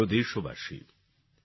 আমার প্রিয় দেশবাসী